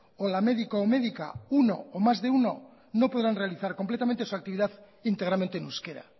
o la medico o medica uno o más de uno no podrán realizar completamente su actividad íntegramente en euskera